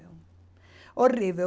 Horrível.